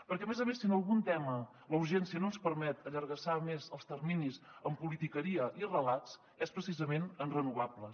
perquè a més a més si en algun tema la urgència no ens permet allargassar més els terminis amb politiqueria i relats és precisament en renovables